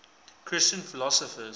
christian philosophers